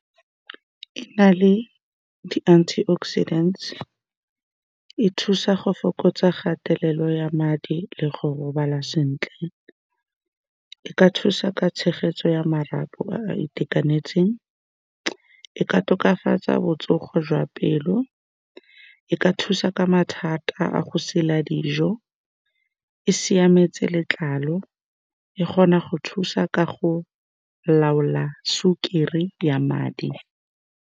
E na le di-antioxidant-e, e thusa go fokotsa kgatelelo ya madi le go robala sentle. E ka thusa ka tshegetso ya marapo a a itekanetseng. E ka tokafatsa botsogo jwa pelo, e ka thusa ka mathata a go sela dijo. E siametse letlalo, E kgona go thusa ka go laola sukiri ya madi.